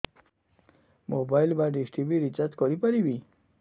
mobile ବା dish TV recharge କରି ପାରିବି